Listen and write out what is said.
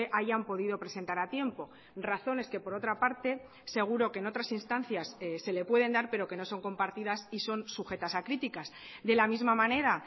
hayan podido presentar a tiempo razones que por otra parte seguro que en otras instancias se le pueden dar pero que no son compartidas y son sujetas a críticas de la misma manera